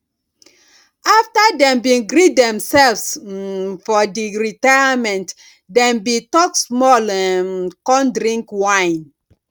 after dem bin greet themselves um for di retirememnt dem bin talk small um con drink wine